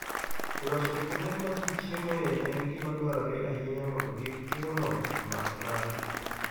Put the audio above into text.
Loso kuonde ma ji chiemoe en gima dwarore ahinya mondo kik tuono omak ng'ato.